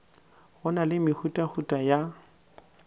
go na le mehutahuta ya